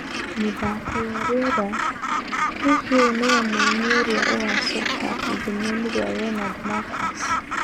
(Mĩthako ya rĩera) Hihi ũyũ nĩwe mũini ũrĩa ũgũcoka ithenya-inĩ rĩa Leonard Marcus?